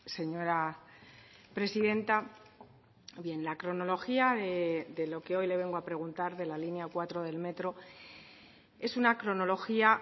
señora presidenta bien la cronología de lo que hoy le vengo a preguntar de la línea cuatro del metro es una cronología